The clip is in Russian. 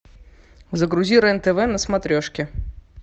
загрузи рен тв на смотрешке